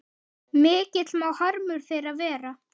Mikill má harmur þeirra vera.